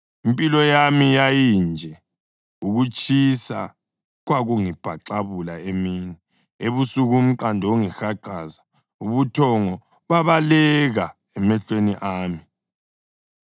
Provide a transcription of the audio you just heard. Impilo yami yayinje: ukutshisa kwakungibhaxabula emini, ebusuku umqando ungihaqaze, ubuthongo babaleka emehlweni ami.